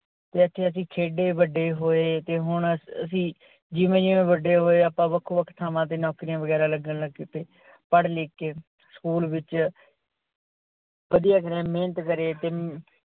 ਜਿੱਥੇ ਅਸੀਂ ਖੇਡੇ ਵੱਡੇ ਹੋਏ ਤੇ ਹੁਣ ਅਸੀਂ ਜਿਵੇਂ ਜਿਵੇਂ ਵੱਡੇ ਹੋਏ ਆਪਾ ਵੱਖੋ ਵੱਖ ਥਾਵਾਂ ਤੇ ਨੋਕਰੀਆ ਵਿਗਾਰਾ ਲੱਗਣ ਲੱਗ ਚੁੱਕੇ ਪੜ ਲਿੱਖ ਕੇ school ਵਿੱਚ ਵਧੀਆ ਕਰਿਆ ਮਹਿਨਤ ਕਰੀ ਤੇ,